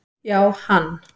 Já, hann